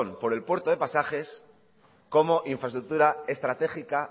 por el puerto de pasajes como infraestructura estratégica